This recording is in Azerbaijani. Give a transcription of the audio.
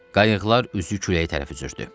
Qayıqlar üzü küləyə tərəf üzürdü.